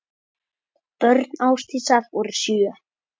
Börn Ásdísar voru sjö.